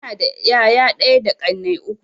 Ina da yaya ɗaya da ƙannai uku.